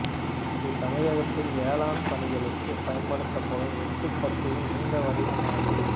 இது தமிழகத்தில் வேளாண் பணிகளுக்கு பயன்படுத்தும் வெட்டுக் கத்தியின் நீண்ட வடிவமாகும்